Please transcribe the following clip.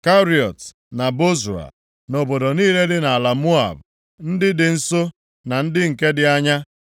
Keriọt na Bozra, na obodo niile dị nʼala Moab, ndị dị nso, na ndị nke dị anya.